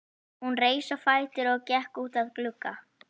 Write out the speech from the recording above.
Hún reis á fætur og gekk út að glugga.